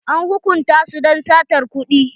An hukunta su don satar kuɗi.